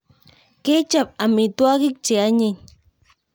Kechop amitwokik che anyiny